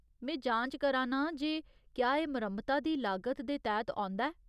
में जांच करा नां जे क्या एह् मरम्मता दी लागत दे तैह्त औंदा ऐ।